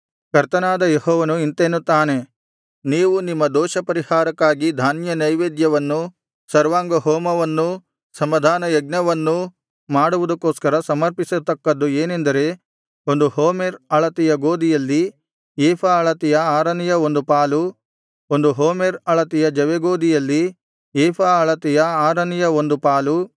ಕರ್ತನಾದ ಯೆಹೋವನು ಇಂತೆನ್ನುತ್ತಾನೆ ನೀವು ನಿಮ್ಮ ದೋಷಪರಿಹಾರಕ್ಕಾಗಿ ಧಾನ್ಯನೈವೇದ್ಯವನ್ನೂ ಸರ್ವಾಂಗಹೋಮವನ್ನೂ ಸಮಾಧಾನಯಜ್ಞವನ್ನೂ ಮಾಡುವುದಕ್ಕೋಸ್ಕರ ಸಮರ್ಪಿಸತಕ್ಕದು ಏನೆಂದರೆ ಒಂದು ಹೋಮೆರ್ ಅಳತೆಯ ಗೋದಿಯಲ್ಲಿ ಏಫಾ ಅಳತೆಯ ಆರನೆಯ ಒಂದು ಪಾಲು ಒಂದು ಹೋಮೆರ್ ಅಳತೆಯ ಜವೆಗೋದಿಯಲ್ಲಿ ಏಫಾ ಅಳತೆಯ ಆರನೆಯ ಒಂದು ಪಾಲು